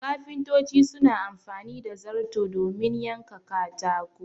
Kafintoci suna amfani da zarto domin yanka katago